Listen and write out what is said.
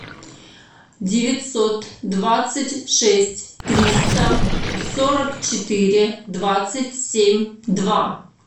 девятьсот двадцать шесть триста сорок четыре двадцать семь два